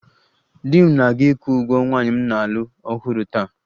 Di m na-aga ịkwụ ụgwọ nwanyị m na-alụ ọhụrụ taa